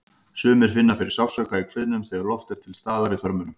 Sumir finna fyrir sársauka í kviðnum þegar loft er til staðar í þörmunum.